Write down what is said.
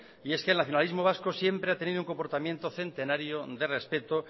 y es que el nacionalismo vasco siempre ha tenido un comportamiento centenario de respeto